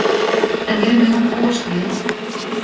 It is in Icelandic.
En við megum búast við.